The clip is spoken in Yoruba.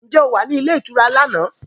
Ǹjẹ́ ò o wà ní ilé ìtura lánàá?